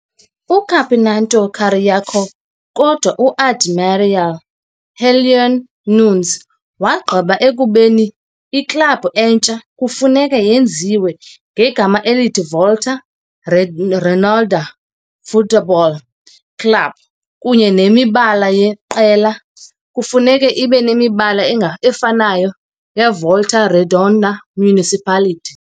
Campeonato Carioca, kodwa u-Admiral uHeleno Nunes wagqiba ekubeni iklabhu entsha kufuneka yenziwe ngegama elithi Volta Redonda Futebol Clube kunye nemibala yeqela kufuneka ibe nemibala efanayo yeVolta Redonda Municipality.